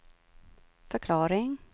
förklaring